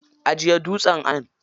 Ajiye duwatsun a nan.